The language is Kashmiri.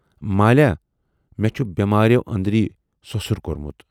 ""مالیاہ مےٚ چھُ بٮ۪مٲرٮ۪و أنٛدری سۅسُر کورمُت۔